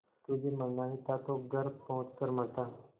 तुझे मरना ही था तो घर पहुँच कर मरता